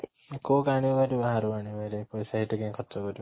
କୋଉ ଆଣିବ ହେରି ବାହାରୁ ଆଣିବେ ହେରି ପଇସା ଏଇଠି କାଇଁ ଖର୍ଚ କରିବ